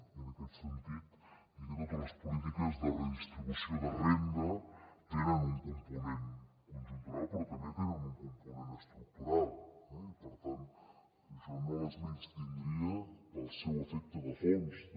i en aquest sentit dir que totes les polítiques de redistribució de renda tenen un component conjuntural però també tenen un component estructural eh i per tant jo no les menystindria pel seu efecte de fons també